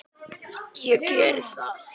Ég geri það!